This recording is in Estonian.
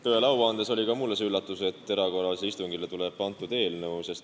Tõele au andes oli ka mulle see üllatuseks, et erakorralisel istungil tuleb antud eelnõu arutlusele.